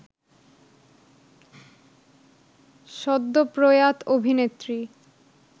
সদ্য প্রয়াত অভিনেত্রী